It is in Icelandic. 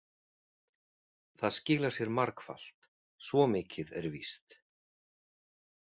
Það skilar sér margfalt, svo mikið er víst.